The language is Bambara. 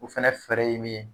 O fɛnɛ fɛɛrɛ ye min ye